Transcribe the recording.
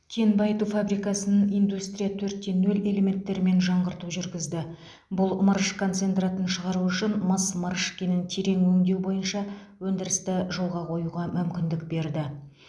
кен байыту фабрикасын индустрии төрт те нөл элементтерімен жаңғырту жүргізді бұл мырыш концентратын шығару үшін мыс мырыш кенін терең өңдеу бойынша өндірісті жолға қоюға мүмкіндік берді